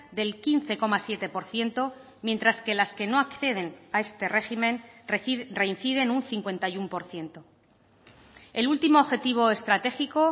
del quince coma siete por ciento mientras que las que no acceden a este régimen reinciden un cincuenta y uno por ciento el último objetivo estratégico